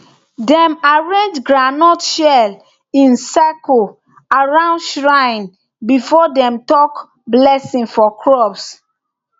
dem arrange groundnut shell in circle around shrine before dem talk blessing for crops